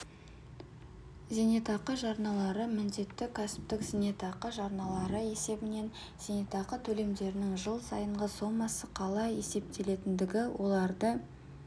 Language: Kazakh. зейнетақы жарналары міндетті кәсіптік зейнетақы жарналары есебінен зейнетақы төлемдерінің жыл сайынғы сомасы қалай есептелетіндігі оларды